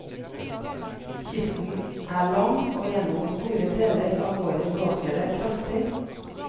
Kysten er lang, og gjennom store deler av året blåser det kraftig.